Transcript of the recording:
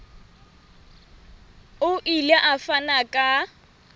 o ile a fana ka